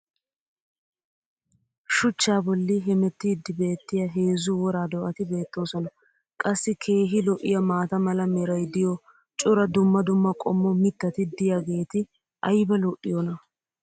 Shuchchaa bolli hemmetiidi beetiya heezzu wora do''ati beettoosona. qassi keehi lo'iyaa maata mala meray diyo cora dumma dumma qommo mitati diyaageeti ayba lo'iyoonaa?